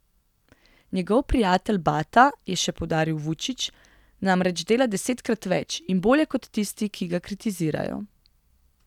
Njegov prijatelj Bata, je še poudaril Vučić, namreč dela desetkrat več in bolje kot tisti, ki ga kritizirajo.